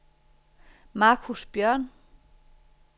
Marcus Bjørn